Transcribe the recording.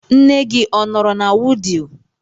Nne gị ọ nọrọ na Wudil?